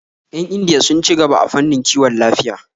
Yan Indiya sun ci gaba a fannin kiwon lafiya